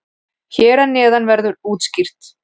Hér að neðan verður það útskýrt.